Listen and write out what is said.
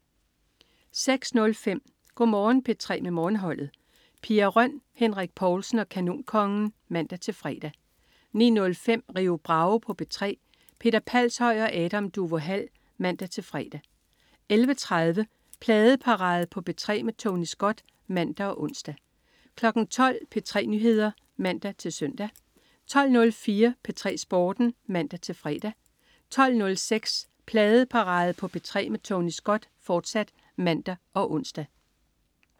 06.05 Go' Morgen P3 med Morgenholdet. Pia Røn, Henrik Povlsen og Kanonkongen (man-fre) 09.05 Rio Bravo på P3. Peter Palshøj og Adam Duvå Hall (man-fre) 11.30 Pladeparade på P3 med Tony Scott (man og ons) 12.00 P3 Nyheder (man-søn) 12.04 P3 Sporten (man-fre) 12.06 Pladeparade på P3 med Tony Scott, fortsat (man og ons)